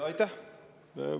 Aitäh!